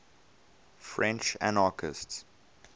french anarchists